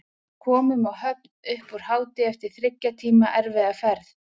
Við komum á Höfn upp úr hádegi eftir þriggja tíma erfiða ferð.